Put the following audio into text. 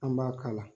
An b'a kala